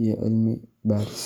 iyo cilmi-baaris.